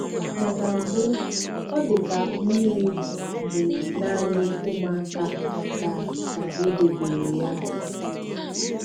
Ma na mbụ, ọ dị ka mmiri bụ naanị ụmụaka ka ka e debere ya.